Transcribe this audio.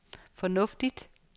fornuftigt